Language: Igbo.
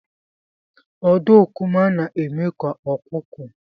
Ọdọkụma na-eme ka ọkụkọ.